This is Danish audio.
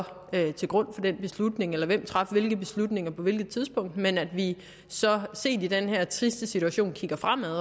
lå til grund for den beslutning eller hvem der traf hvilke beslutninger på hvilket tidspunkt men at vi så set i den her triste situation kigger fremad